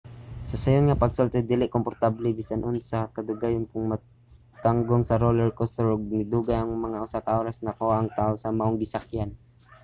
sa sayon nga pagsulti dili komportable bisan unsa kadugayon kon matanggong sa roller coaster ug nidugay ug mga usa ka oras usa nakuha ang taw sa maong gisakyan